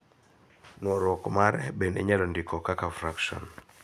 Nworuok mare bende inyalo ndiko kaka frakson.